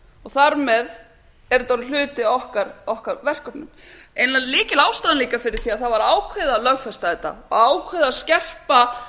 þar með er þetta orðinn hluti af okkar verkefnum eiginlega lykilástæðum líka fyrir því að það var ákveðið að lögfesta þetta og ákveðið að skerpa